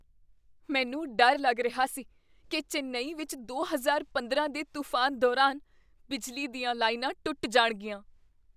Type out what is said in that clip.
ਮੈਨੂੰ ਡਰ ਲੱਗ ਰਿਹਾ ਸੀ ਕੀ ਚੇਨੱਈ ਵਿੱਚ ਦੋ ਹਜ਼ਾਰ ਪੰਦਰਾਂ ਦੇ ਤੂਫਾਨ ਦੌਰਾਨ ਬਿਜਲੀ ਦੀਆਂ ਲਾਈਨਾਂ ਟੁੱਟ ਜਾਣਗੀਆਂ